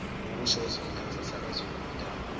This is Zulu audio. kusho isifundazwe sakwazulunatali